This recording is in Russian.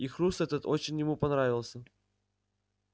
и хруст этот очень ему понравился